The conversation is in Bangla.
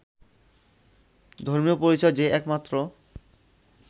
ধর্মীয় পরিচয় যে একমাত্র